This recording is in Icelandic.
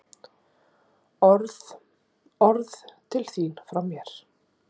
Orð- orð til þín frá mér.